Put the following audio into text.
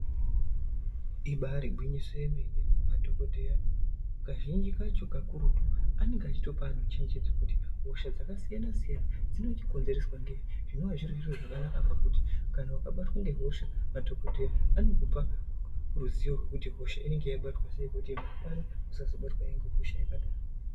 Ibari gwinyiso remene madhokodheya kazhinji kacho kakurutu anonga eitopa anhu chenjedzo kuti hosha dzakasiyanasiyana dzinonga dzeikonzereswa ngei zvinova zviri zviro zvakanaka pakuti kana ukabatwa ngehosha madhokodheya anokupa ruziwo kuti hosha inonga yabatwa sei kuti managwana usazobatwahe ngehosha yakadaro.